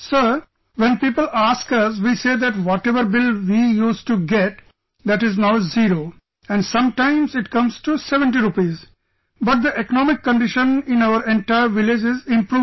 Sir, when people ask us, we say that whatever bill we used to get, that is now zero and sometimes it comes to 70 rupees, but the economic condition in our entire village is improving